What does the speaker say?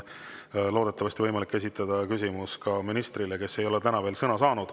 Loodetavasti on võimalik esitada küsimusi ka ministrile, kes ei ole täna veel sõna saanud.